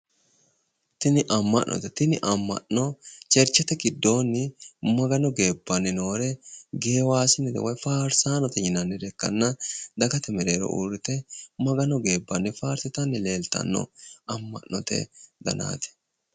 Tini amma’note tini amma’no Cherchete giddoonni Magano geebbanni noore geewaasine woyi faarsaano yinannire ikkanna dagate mereero uurrite Magano geebbanni faarsitanni leeltanno amma’note danaati.